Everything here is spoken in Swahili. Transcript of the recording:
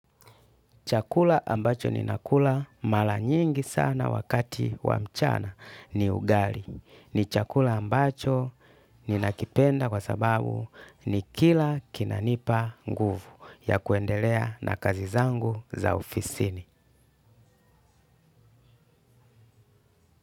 Chakula ambacho ninakula mara nyingi sana wakati wa mchana ni ugali. Ni chakula ambacho ninakipenda kwa sababu ni kila kinanipa nguvu ya kuendelea na kazi zangu za ufisini.